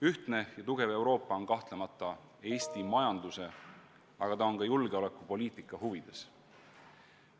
Ühtne ja tugev Euroopa on kahtlemata Eesti majanduse, aga ka julgeolekupoliitika huvides.